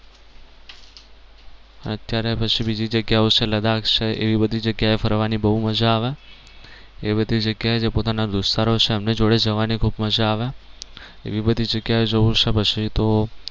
અત્યારે પછી બીજી જગ્યાઓ છે લદાખ છે એવી બધી જગ્યા એ ફરવાની બહુ મજા આવે. એવી બધી જગ્યા એ જે પોતાના દોસ્તરો છે એમની જોડે જવાની ખૂબ મજા આવે એવી બધી જગ્યા એ જવું છે પછી તો